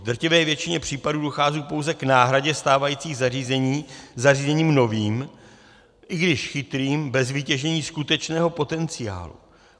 V drtivé většině případů dochází pouze k náhradě stávajících zařízení zařízením novým, i když chytrým, bez vytěžení skutečného potenciálu.